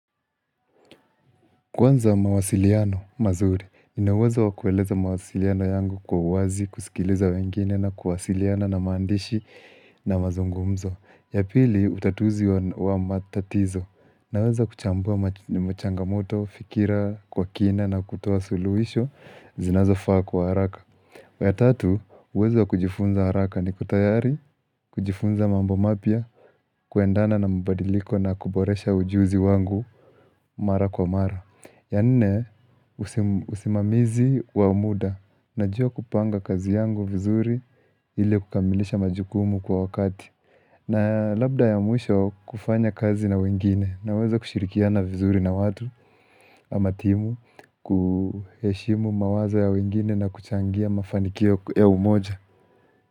Kwanza mawasiliano mazuri, nina uwezo wakueleza mawasiliano yangu kwa uwazi, kusikiliza wengine na kuwasiliana na maandishi na mazungumzo. Ya pili utatuzi wa matatizo, naweza kuchambua changamoto, fikira kwa kina na kutoa suluhisho, zinazofaa kwa haraka. Ya tatu, uwezo ya kujifunza haraka niko tayari, kujifunza mambo mapya, kuendana na mabadiliko na kuboresha ujuzi wangu mara kwa mara. Ya nne usimamizi wa muda najua kupanga kazi yangu vizuri ili kukamilisha majukumu kwa wakati na labda ya mwisho kufanya kazi na wengine naweza kushirikiana vizuri na watu ama timu kuheshimu mawazo ya wengine na kuchangia mafanikio ya umoja.